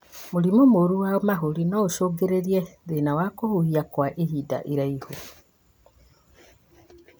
Mũrimũ mũru wa mahũri noũcũngĩrĩrie thĩna wa kũhihia kwa ihinda iraihu